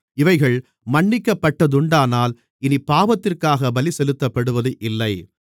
இவைகள் மன்னிக்கப்பட்டதுண்டானால் இனிப் பாவத்திற்காக பலி செலுத்தப்படுவது இல்லை